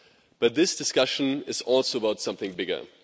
But this discussion is also about something bigger.